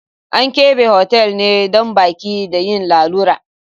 An keɓe hotal ne don baƙi da yin lalura.